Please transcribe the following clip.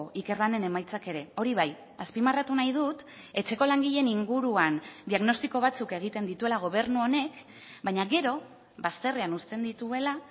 ikerlanen emaitzak ere hori bai azpimarratu nahi dut etxeko langileen inguruan diagnostiko batzuk egiten dituela gobernu honek baina gero bazterrean uzten dituela